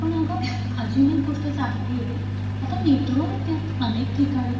पण अगं अजून एक गोष्ट चांगली आहे. आता मेट्रो येतेय अनेक ठिकाणी.